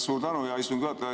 Suur tänu, hea istungi juhataja!